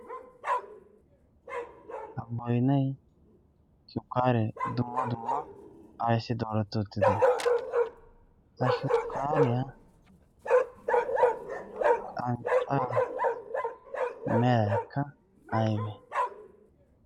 boynay shukaaree ayssi dooreti uttidee? ha sukaariya qancaa meraykka ay malatii?